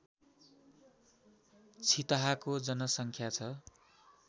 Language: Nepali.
छितहाको जनसङ्ख्या छ